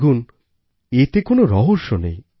দেখুন এতে কোনো রহস্য নেই